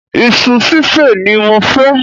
Isu sísè ni mo fẹ́